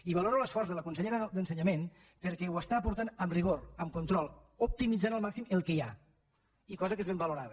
i valoro l’esforç de la consellera d’ensenyament perquè ho porta amb rigor amb control optimitzant al màxim el que hi ha cosa que és ben valorada